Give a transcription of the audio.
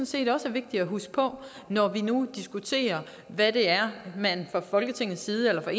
set også er vigtigt at huske på når vi nu diskuterer hvad det er man fra folketingets side eller fra